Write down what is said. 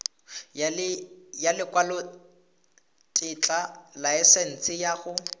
ya lekwalotetla laesense ya go